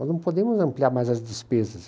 Nós não podemos ampliar mais as despesas.